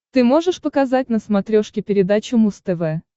ты можешь показать на смотрешке передачу муз тв